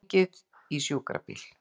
Hringið í sjúkrabíl.